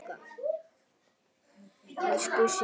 Elsku Sigga.